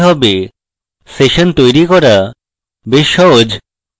session তৈরী করা বেশ সহজ